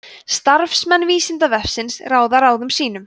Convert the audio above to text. starfsmenn vísindavefsins ráða ráðum sínum